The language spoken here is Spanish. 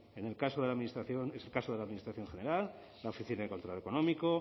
en el caso de la administración general la oficina de control económico